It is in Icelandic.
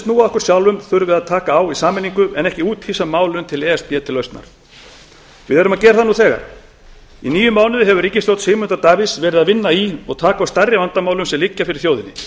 á þeim atriðum sem snúa að okkur sjálfum en ekki úthýsa málinu til e s b til lausnar við erum að gera það nú þegar í níu mánuði hefur ríkisstjórn sigmundar davíðs unnið í og tekið á stærri vandamálunum sem liggja fyrir þjóðinni